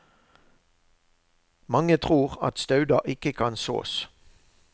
Mange tror at stauder ikke kan sås.